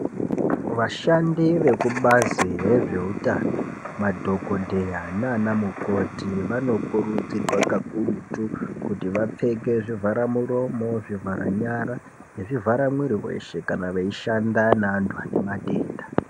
Vashandi vekubazi rezveutano madhokodheya nanamukoti vanokurudzirwa kakurutu kuti vapfeke zvivhara muromo, zvivhara nyara nezvivhara mwiri weshe kana veishanda nevantu vane matenda.